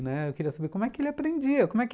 Né, eu queria saber como é que ele aprendia. Como é que